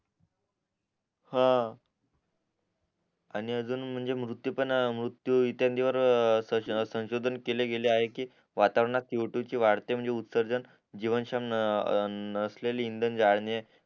ह आणि अजून मृत्यू पण मृत्यू इत्यादीं वर संशोधन केले गेले आहे कि वातावरणात सीओटू ची वाढते म्हणजे जीवनशम नसलेले इंधन जाडणे